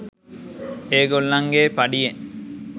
ඒගොල්ලන්ගෙ පඩියෙන්